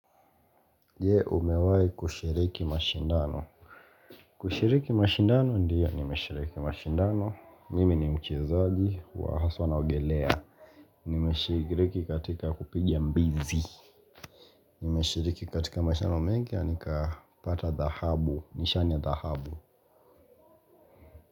Je, umewahi kushiriki mashindano? Kushiriki mashindano ndio nimeshiriki mashindano. Mimi ni mchezaji wa haswa naogelea. Nimeshiriki katika kupiga mbizi. Nimeshiriki katika mashindano mingi na nikapata dhahabu. Nishani ya dhahabu.